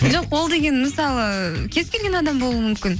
жоқ ол деген мысалы кез келген адам болуы мүмкін